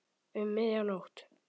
Um miðja nótt.